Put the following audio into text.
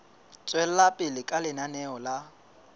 tswela pele ka lenaneo la